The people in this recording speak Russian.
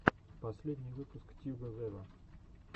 последний выпуск тьюга вево